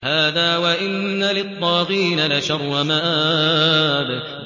هَٰذَا ۚ وَإِنَّ لِلطَّاغِينَ لَشَرَّ مَآبٍ